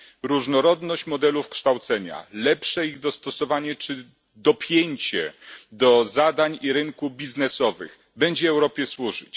Różnorodność modeli kształcenia, lepsze ich dostosowanie czy dopięcie do zadań i rynków biznesowych będzie Europie służyć.